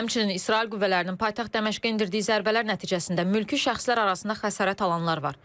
Həmçinin İsrail qüvvələrinin paytaxt Dəməşqə endirdiyi zərbələr nəticəsində mülki şəxslər arasında xəsarət alanlar var.